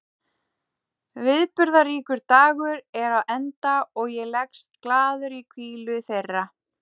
Viðburðaríkur dagur er á enda og ég leggst glaður í hvílu þeirra.